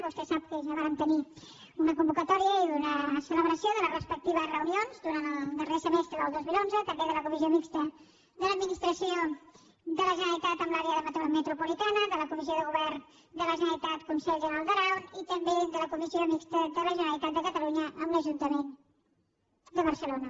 vostè sap que ja vàrem tenir una convocatòria i una celebració de les respectives reunions durant el darrer semestre del dos mil onze també de la comissió mixta de l’administració de la generalitat amb l’àrea metropolitana de la comissió de govern de la generalitat conselh generau d’aran i també de la comissió mixta de la generalitat de catalunya amb l’ajuntament de barcelona